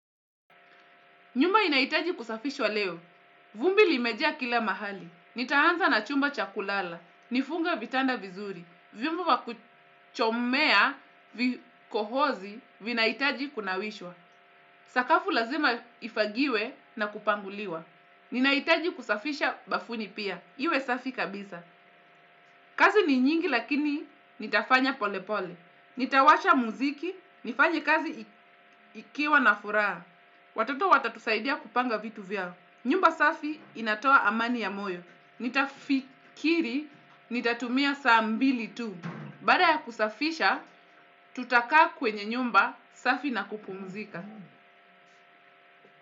Nyumba inahitaji kusafishwa leo. Vumbi limejea kila mahali. Nitaanza na chumba chakulala. Nifunga vitanda vizuri. Viombo vya kuchomea vikohozi vinaitaji kunawishwa. Sakafu lazima ifagiwe na kupanguliwa. Ninahitaji kusafisha bafuni pia, iwe safi kabisa. Kazi ni nyingi lakini nitafanya pole pole. Nitawasha muziki, nifanye kazi ikiwa na furaha. Watoto watatusaidia kupanga vitu vyao. Nyumba safi inatoa amani ya moyo. Nitafikiri, nitatumia saa mbili tu. Baada ya kusafisha, tutakaa kwenye nyumba safi na kupumzika.